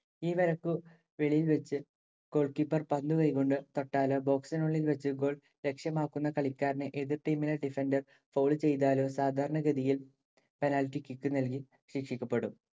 ഈ വരയ്ക്കു വെളിയിൽ വച്ച്‌ goal keeper പന്തു കൈകൊണ്ടു തൊട്ടാലോ, box ഇനുള്ളിൽ വച്ച്‌ goal ലക്ഷ്യമാക്കുന്ന കളിക്കാരനെ എതിർ ടീമിലെ defender fowl ചെയ്താലോ സാധാരണ ഗതിയിൽ penalty kick നൽകി ശിക്ഷിക്കപ്പെടും.